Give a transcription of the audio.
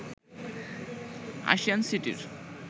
ASEAN সিটির